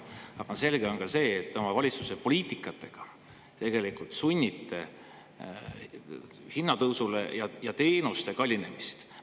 Aga selge on see, et te oma valitsuse poliitikaga tegelikult sunnite hinnatõusule ja teenuste kallinemisele.